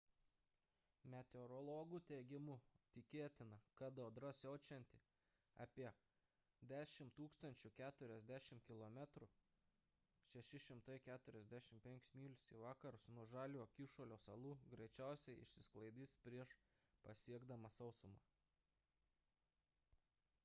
meteorologų teigimu tikėtina kad audra siaučianti apie 1040 km 645 myl. į vakarus nuo žaliojo kyšulio salų greičiausiai išsisklaidys prieš pasiekdama sausumą